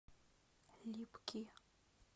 липки